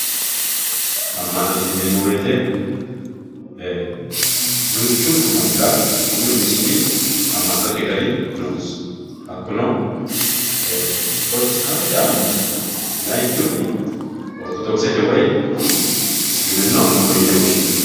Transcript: amma'note yineemo woyiite duuchunku mannira umi umisiti amma'not gari noosi hakkuno protestaantete amm'no layiinkihuni ortodokisete woye isiliminnu amma'no yine woshshinanni.